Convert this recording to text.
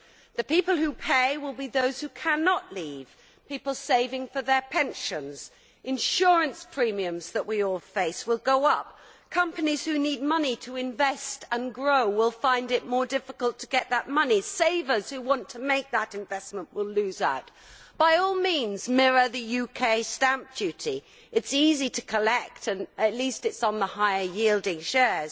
The people who pay will be those who cannot leave people saving for their pensions, insurance premiums that we all face will go up, companies that need money to invest and grow will find it more difficult to get that money and savers who want to make that investment will lose out. By all means mirror the UK's stamp duty, it is easy to collect and at least it is on the higher yielding shares,